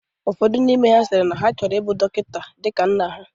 Ụfodụ n'ime ha sịrị na ha chọrọ ibu dọkịta dịka nna ha.